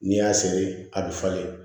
N'i y'a seri a bɛ falen